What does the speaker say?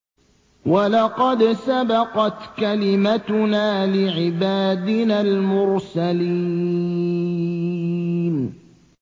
وَلَقَدْ سَبَقَتْ كَلِمَتُنَا لِعِبَادِنَا الْمُرْسَلِينَ